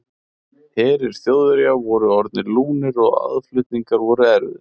Herir Þjóðverja voru orðnir lúnir og aðflutningar voru erfiðir.